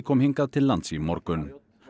kom hingað til lands í morgun